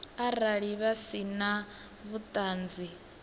arali vha si na vhuṱanzi